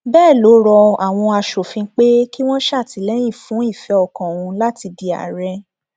bẹẹ ló rọ àwọn aṣòfin pé kí wọn ṣàtìlẹyìn fún ìfẹ ọkàn òun láti di àárẹ